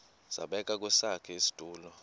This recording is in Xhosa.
zabekwa kwesakhe isitulo